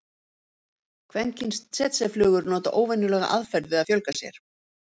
kvenkyns tsetseflugur nota óvenjulega aðferð við að fjölga sér